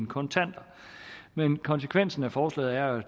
kontanter men konsekvensen af forslaget er